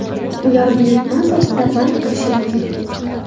Ular buyurtma asosida band qilishi mumkin.